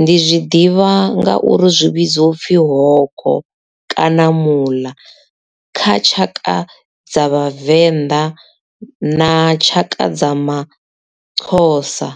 ndi zwi ḓivha nga uri zwi vhidzwa upfhi hogo kana mula kha tshaka dza vhavenḓa na tshaka dza maxhosa.